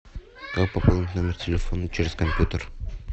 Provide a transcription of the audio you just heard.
как пополнить номер телефона через компьютер